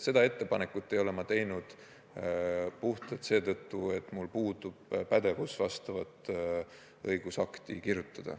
Seda ettepanekut ei ole ma teinud puhtalt seetõttu, et mul puudub pädevus niisugust õigusakti kirjutada.